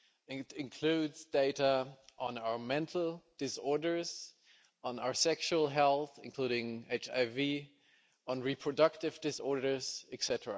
It includes data on our mental disorders, on our sexual health, including HIV, on reproductive disorders, etc.,